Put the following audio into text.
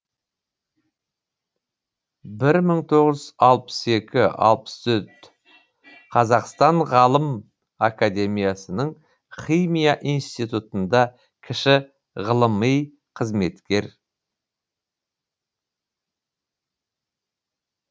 бір мың тоғыз жүз алпыс екі алпыс төрт қазақстан ғалым академиясының химия институтында кіші ғылыми қызметкер